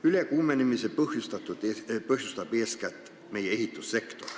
Ülekuumenemise põhjustab eeskätt meie ehitussektor.